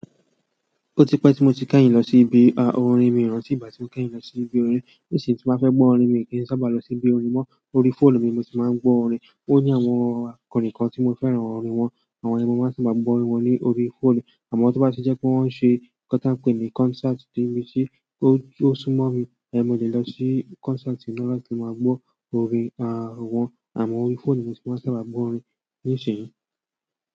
Ó ti pẹ́ tí mo ti kányìn lọ sí ibi orin, mi ò rántí ìgbà tí mo kányìn lọ sí ibi orin. Nísìnyí tí bá fẹ́ gbọ́ orin mi kì í sábà lọ sí ibi orin mọ́. Orí fóònù mi ni mo tì máa ń gbọ́ orin. Ó ní àwọn akọrin kan tí mo fẹ́ràn orin wọn, àwọn ẹni yi ni mó máa ń sábà gbọ́ orin wọn lórí fóònù. Àmọ́ to bá ti jẹ́ pé wọ́n ń ṣe nkan tanpe ì ní kọ́nsáàtì tí ó súmọ́ mi mo lè lọ sí kọ́nsáàtì náà láti máa gbọ́ orin àwọn. Àmọ́ orí fóònù mo tì máa ń sábà gbọ́ orin nísìnyí.